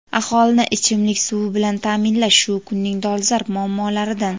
Aholini ichimlik suv bilan ta’minlash shu kunning dolzarb muammolaridan.